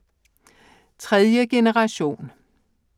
Tredje generation